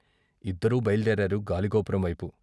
" ఇద్దరూ బయల్దేరారు గాలిగోపురం వైపు.